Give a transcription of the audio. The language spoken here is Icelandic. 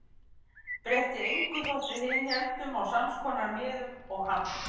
Breytti engu þótt við hin héldum á samskonar miðum og hann.